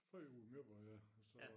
Før ude i Møborg ja og så